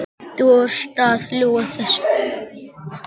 Þú ert að ljúga þessu!